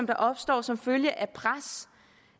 der opstår som følge af pres